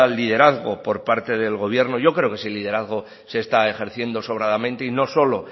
liderazgo por parte del gobierno yo creo que ese liderazgo se está ejerciendo sobradamente y no solo